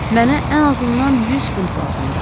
Mənə ən azından 100 funt lazımdır.